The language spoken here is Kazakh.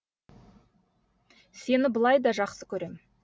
сені былай да жақсы көрем